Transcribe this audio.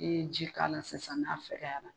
E ye ji k'a la sisan n'a fɛkɛyara.